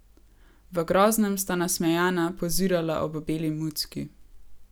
V Groznem sta nasmejana pozirala ob beli mucki.